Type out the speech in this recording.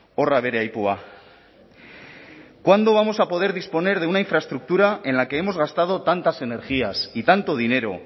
horra bere aipua cuándo vamos a poder disponer de una infraestructura en la que hemos gastado tantas energías y tanto dinero